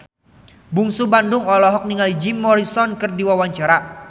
Bungsu Bandung olohok ningali Jim Morrison keur diwawancara